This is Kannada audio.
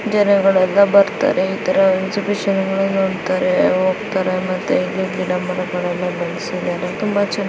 ಜನಗಲ್ಲೆಲ್ಲ ಬರ್ತಾರೆ ಈ ತರಾ ಎಕ್ಸಿಬಿಷನ್ ಗಳು ನೋಡ್ತಾರೆ ಹೋಗ್ತಾರೆ. ಮತ್ತು ಇಲ್ಲಿ ಗಿಡ ಮರಗಳನ್ನು ಬೆಳೆಸಿದ್ದಾರೆ ತುಂಬಾ ಚೆನ್ನಾ --